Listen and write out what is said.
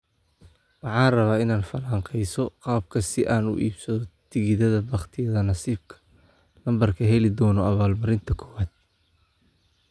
Waxaan rabaa inaad falanqeyso qaabka si aan u iibsado tigidhada bakhtiyaa-nasiibka lambarka heli doona abaalmarinta koowaad